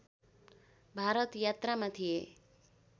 भारत यात्रामा थिए